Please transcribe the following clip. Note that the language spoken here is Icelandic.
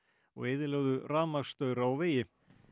og eyðilögðu rafmagnsstaura og vegi